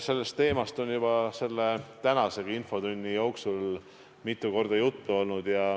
Sellest teemast on juba tänasegi infotunni jooksul mitu korda juttu olnud.